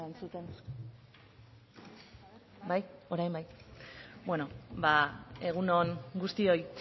egun on guztioi